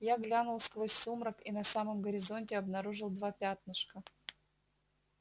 я глянул сквозь сумрак и на самом горизонте обнаружил два пятнышка